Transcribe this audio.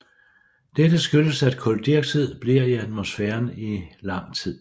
Dette skyldes at kuldioxid bliver i atmosfæren i lang tid